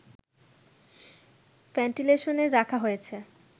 ভেন্টিলেশনে রাখা হয়েছে